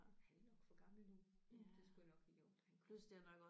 Han er nok for gammel en hund det skulle jeg nok have gjort da han kom